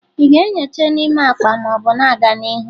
Ị na-enyocha n'ime akpa ma ọ bụ na-aga n'ihu?